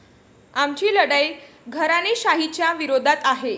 आमची लढाई घराणेशाहीच्या विरोधात आहे.